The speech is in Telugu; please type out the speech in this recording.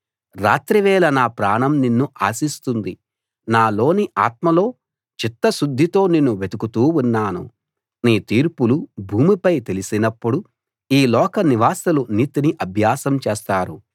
రాత్రివేళ నా ప్రాణం నిన్ను ఆశిస్తుంది నాలోని ఆత్మలో చిత్తశుద్ధితో నిన్ను వెతుకుతూ ఉన్నాను నీ తీర్పులు భూమిపై తెలిసినప్పుడు ఈ లోక నివాసులు నీతిని అభ్యాసం చేస్తారు